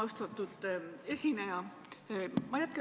Austatud esineja!